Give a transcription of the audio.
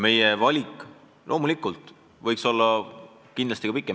Meie nimekiri võiks loomulikult olla ka pikem.